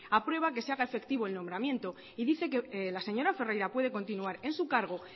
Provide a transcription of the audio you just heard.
aprueba a que se haga efectiva el nombramiento y dice que la señora ferreira puede continuar en su cargo